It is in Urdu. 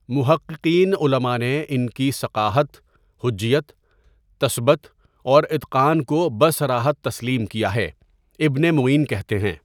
محققین علماء نے ان کی ثقاہت، حجیت، تثبت اوراتقان کو بصراحت تسلیم کیا ہے، ابن معین کہتے ہیں.